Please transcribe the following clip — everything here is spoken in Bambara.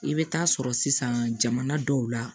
I bɛ taa sɔrɔ sisan jamana dɔw la